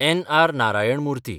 N. R. Narayana Murthy